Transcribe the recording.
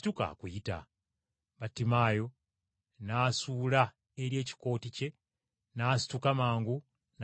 Battimaayo n’asuula eri ekikooti kye, n’asituka mangu n’ajja eri Yesu.